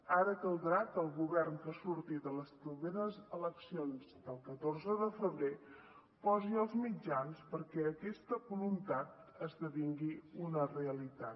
ara caldrà que el govern que surti de les properes eleccions del catorze de febrer posi els mitjans perquè aquesta voluntat esdevingui una realitat